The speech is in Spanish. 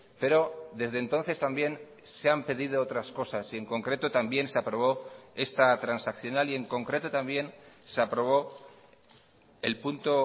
pero desde entonces también se han pedido otras cosas y en concreto también se aprobó esta transaccional y en concreto también se aprobó el punto